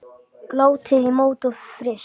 Látið í mót og fryst.